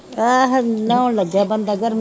ਆਹੋ ਨਹਾਉਣ ਲੱਗਿਆ ਬੰਦਾ ਗਰਮ